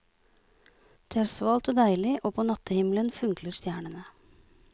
Det er svalt og deilig og på natthimmelen funkler stjernene.